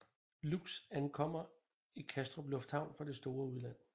Lux ankommer i Kastrup Lufthavn fra det store udland